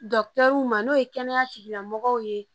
n'o ye kɛnɛya tigilamɔgɔw ye